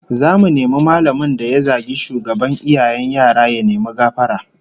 Zamu nemi mallamin da ya zagi shugaban iyayen yara ya nemi gafara